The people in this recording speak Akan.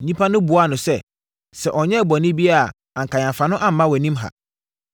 Nnipa no buaa no sɛ, “Sɛ ɔnyɛɛ bɔne biara a anka yɛamfa no amma wʼanim ha.”